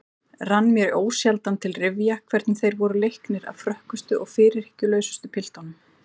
Rann mér ósjaldan til rifja hvernig þeir voru leiknir af frökkustu og fyrirhyggjulausustu piltunum.